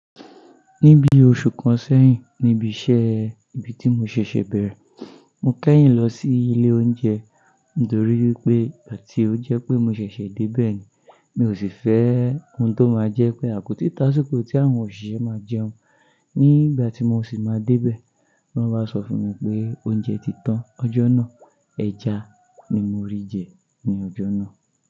Níbi oṣù kan sẹ́yìn níbi iṣẹ́ ibi tí mo ṣèṣè bẹ̀rẹ̀, mo kẹ́yìn lọ sí ilé oúnjẹ nítorí wípé àti ó jẹ́ pé mo ṣẹ̀ṣẹ̀ dé bẹ́ẹ̀ni, mi ò sì fẹ́ ohun tó máa jẹ́ pé àkótí tasiko tí àwọn òṣìṣẹ́ máa jẹun. Nígbà tí mo sì máa dé bẹ́ẹ̀, wón ba sọ fún mi pé oúnjẹ ti tán ọjọ́ náà. Ẹja ni mo rí jẹ ní ọjọ́ náà.